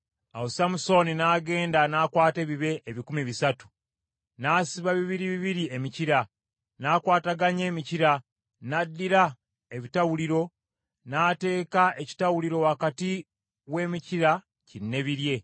Awo Samusooni n’agenda n’akwata ebibe ebikumi bisatu, n’asiba bibiri bibiri emikira, n’akwataganya emikira, n’addira ebitawuliro n’ateeka ekitawuliro wakati w’emikira kinneebirye.